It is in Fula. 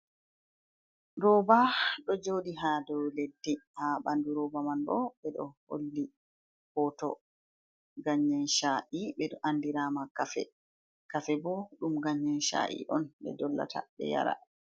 Rooba ɗo joɗi ha dow leddi, ha bandu rooba man bo ɓe ɗo holli hoto gayen sha’i be do andirama kafe, kafe bo ɗum ganyen sha’i on ɓe dollata ɓe yara.